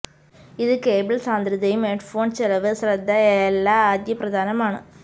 ഇത് കേബിൾ സാന്ദ്രതയും ഹെഡ്ഫോൺ ചെലവ് ശ്രദ്ധ എല്ലാ ആദ്യ പ്രധാനമാണ്